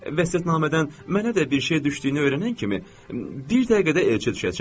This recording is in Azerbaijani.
Vəsiyyətnamədən mənə də bir şey düşdüyünü öyrənən kimi, bir dəqiqədə elçə düşəcək.